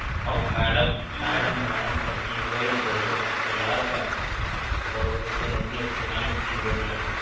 ਉਹ madam madam madam ਪੱਚੀ ਸੋ ਜਾ ਦੋਸੋਂ ਪੰਜਾਹ ਰੁਪਏ